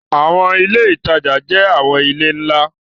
Awọn ile itaja jẹ awọn ile nla